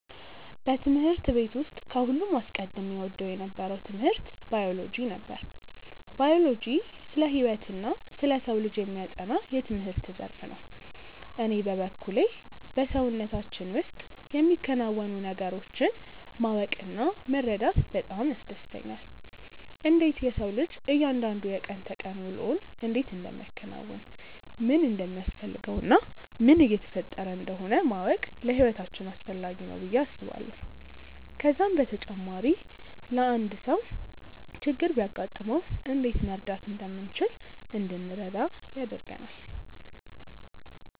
በትምህርት ቤት ውስጥ ከሁሉም አስቀድሜ እወደው የነበረው ትምህርት ባዮሎጂ ነበር። ባዮሎጂ ስለ ህይወትና ስለ ሰው ልጅ የሚያጠና የትምህርት ዘርፍ ነው። እኔ በበኩሌ በሰውነታችን ውስጥ የሚከናወኑ ነገሮችን ማወቅ እና መረዳት በጣም ያስደስተኛል። እንዴት የሰው ልጅ እያንዳንዱ የቀን ተቀን ውሎውን እንዴት እንደሚያከናውን፣ ምን እንደሚያስፈልገው እና ምን እየተፈጠረ እንደሆነ ማወቅ ለህይወታችን አስፈላጊ ነው ብዬ አስባለሁ። ከዛም በተጨማሪ አንድ ሰው ችግር ቢያጋጥመው እንዴት መርዳት እንደምንችል እንድንረዳ ያደርጋል።